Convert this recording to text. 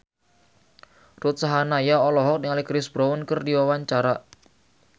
Ruth Sahanaya olohok ningali Chris Brown keur diwawancara